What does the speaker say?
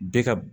Bɛɛ ka